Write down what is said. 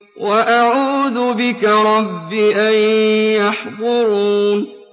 وَأَعُوذُ بِكَ رَبِّ أَن يَحْضُرُونِ